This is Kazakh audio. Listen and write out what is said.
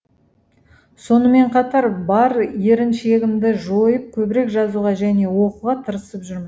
сонымен қатар бар еріншегімді жойып көбірек жазуға және оқуға тырысып жүрмін